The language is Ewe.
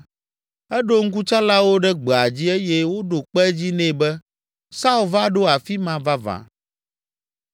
eɖo ŋkutsalawo ɖe gbea dzi eye woɖo kpe edzi nɛ be Saul va ɖo afi ma vavã.